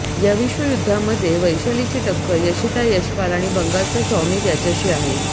या विश्वयुध्दामध्ये वैशालीची टक्कर यशिता यशपाल आणि बंगालचा शॉमिक याच्याशी आहे